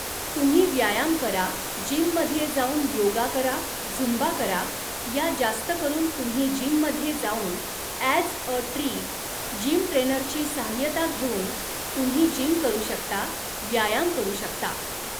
तुम्ही व्यायाम करा जिममध्ये जाऊन योगा करा झुंबा करा या जास्तकरून तुम्ही जिममध्ये जाऊन ॲज अ ट्रि जिमट्रेनरची साह्यता घेऊन तुम्ही जिम करू शकता व्यायाम करू शकता